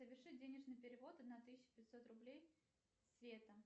соверши денежный перевод на тысячу пятьсот рублей света